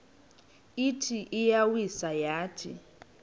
ithi iyawisa yathi